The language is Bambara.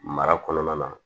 Mara kɔnɔna na